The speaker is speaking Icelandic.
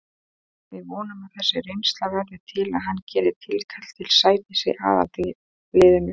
Við vonum að þessi reynsla verði til að hann geri tilkall til sætis í aðalliðinu.